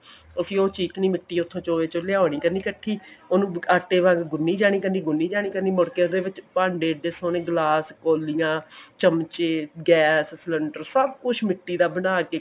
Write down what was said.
ਅਸੀਂ ਉਹ ਚਿਕਨੀ ਮਿੱਟੀ ਉੱਥੋਂ ਚੋਏ ਚੋ ਲਿਆਨੀ ਕਰਨੀ ਇੱਕਠੀ ਉਹਨੂੰ ਆਟੇ ਵਾਂਗ ਗੁੰਨੀ ਜਾਣੀ ਕਰਨੀ ਗੁੰਨੀ ਜਾਣੀ ਕਰਨੀ ਮੁੜ ਕੇ ਉਹਦੇ ਵਿੱਚ ਭਾਂਡੇ ਇਹਨੇ ਸੋਹਣੇ ਗਲਾਸ ਕੋਲਿਆਂ ਚਮਚੇ ਗੈਸ ਸਿਲੰਡਰ ਸਬ ਕੁੱਛ ਮਿੱਟੀ ਦਾ ਬਣਾਕੇ